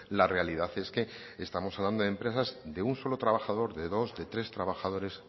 la realidad es que estamos hablando de empresas de un solo trabajador de dos de tres trabajadores